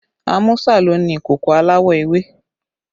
Amusa ló ni ìkòkò aláwọ̀ ewé